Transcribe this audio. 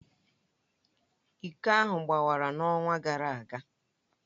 Iko ahụ gbawara n'ọnwa gara aga.